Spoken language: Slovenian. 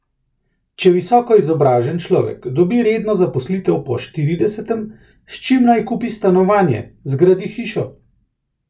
Če visoko izobražen človek dobi redno zaposlitev po štiridesetem, s čim naj kupi stanovanje, zgradi hišo?